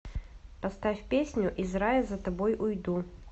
поставь песню из рая за тобой уйду